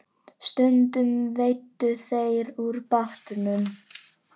Stundum veiddu þeir úr bátnum.